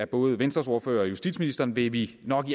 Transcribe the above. både venstres ordfører og justitsministeren vil vi nok